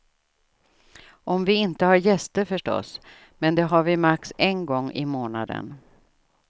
Om vi inte har gäster förstås, men det har vi max en gång i månaden.